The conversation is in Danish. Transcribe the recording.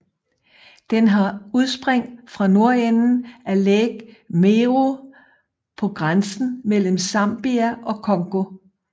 Den har udspring fra nordenden af Lake Mweru på grænsen mellem Zambia og Congo